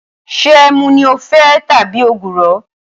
Ṣé ẹmu ni o fẹ tabi ògùrọ̀?